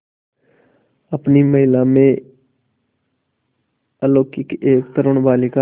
अपनी महिमा में अलौकिक एक तरूण बालिका